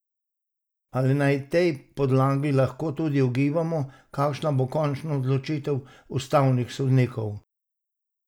Ali na tej podlagi lahko tudi ugibamo, kakšna bo končna odločitev ustavnih sodnikov?